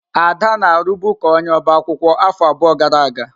Ada na-arụbu ka onye ọbaakwụkwọ afọ abụọ gara aga.